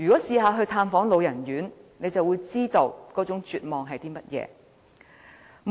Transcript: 曾經探訪老人院的人，便會知道那種絕望的感覺。